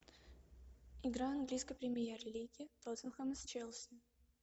игра английской премьер лиги тоттенхэм с челси